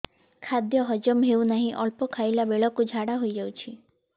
ଖାଦ୍ୟ ହଜମ ହେଉ ନାହିଁ ଅଳ୍ପ ଖାଇଲା ବେଳକୁ ଝାଡ଼ା ହୋଇଯାଉଛି